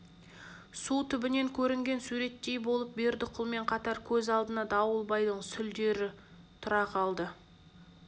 су түбінен көрінген суреттей болып бердіқұлмен қатар көз алдына дауылбайдың сүлдері тұра қалды